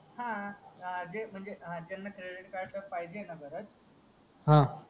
हा तेच म्हणजे क्रेडिट कार्ड पण पाहिजेल ना परत हा